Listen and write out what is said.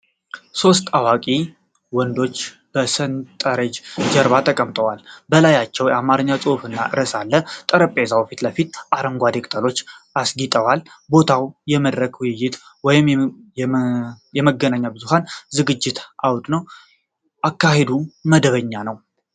ሦስት አዋቂ ወንዶች በ ሰንጠረዥ ጀርባ ተቀምጠዋል። በላያቸው አማርኛ ጽሑፍ እና ርዕስ አለ። በጠረጴዛው ፊት ለፊት አረንጓዴ ቅጠሎች አስጌጠዋል። ቦታው የ መድረክ ውይይት ወይም የመገናኛ ብዙኃን ዝግጅት አውድ ነው። አካሄዱ መደበኛ ነው።